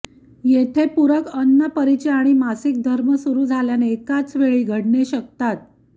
येथे पूरक अन्न परिचय आणि मासिक धर्म सुरू झाल्याने एकाचवेळी घडणे शकतात